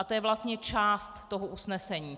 A to je vlastně část toho usnesení.